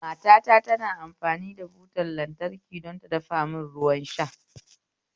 Matata tana amfani da butar lantraki don ta dafa mun ruwan shayi